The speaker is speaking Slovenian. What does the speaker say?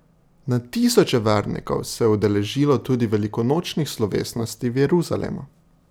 Na tisoče vernikov se je udeležilo tudi velikonočnih slovesnosti v Jeruzalemu.